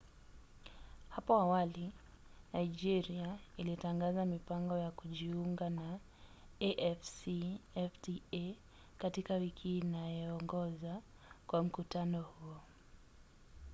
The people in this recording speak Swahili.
hapo awali nigeria ilitangaza mipango ya kujiunga na afcfta katika wiki inayoongoza kwa mkutano huo